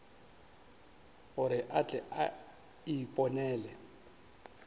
gore a tle a iponele